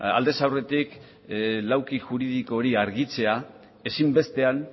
aldez aurretik lauki juridiko hori argitzea ezinbestean